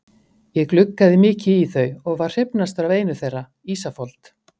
Ég gluggaði mikið í þau og var hrifnastur af einu þeirra, Ísafold.